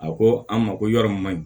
A ko an ma ko yɔrɔ min ma ɲi